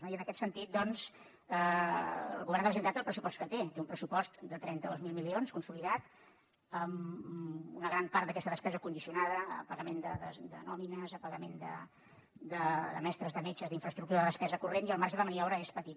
i en aquest sentit doncs el govern de la generalitat té el pressupost que té té un pressupost de trenta dos mil milions consolidat una gran part d’aquesta despesa condicionada al pagament de nòmines a pagament de mestres de metges d’infraestructura de despesa corrent i el marge de maniobra és petit